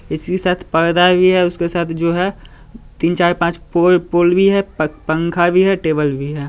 इसके साथ परदा भी है उसके साथ जो है तीन चार पांच पो पोल - पोल भी है पंखा भी है टेबल भी है।